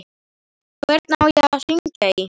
Hvernig á ég að hringja í?